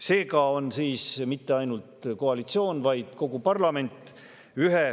Seega ei ole ühe fraktsiooni pantvang mitte ainult koalitsioon, vaid kogu parlament.